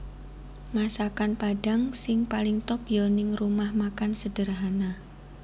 Masakan Padang sing paling top yo ning Rumah Makan Sederhana